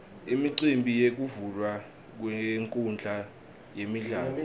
imicimbi yekuvulwa kwenkhundla yemidlalo